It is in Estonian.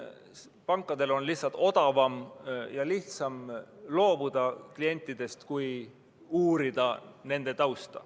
Pankadel on odavam ja lihtsam klientidest loobuda, kui uurida nende tausta.